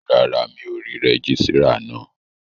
Rárá, mi ò rí rẹ́gísírà náà